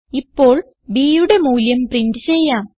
ഇപ്പോൾ bയുടെ മൂല്യം പ്രിന്റ് ചെയ്യാം